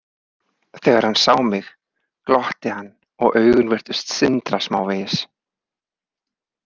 Þegar hann sá mig glotti hann og augun virtust sindra smávegis.